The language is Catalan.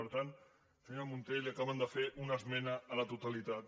per tant senyora munté li acaben de fer una esmena a la totalitat